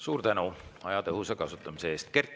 Suur tänu aja tõhusa kasutamise eest!